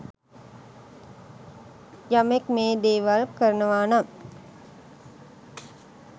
යමෙක් මේ දේවල් කරනවා නම්